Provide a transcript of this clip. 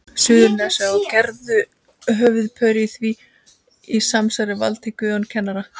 Suðurnesja, og gerðu að höfuðpaur í því samsæri Valtý Guðjónsson kennara.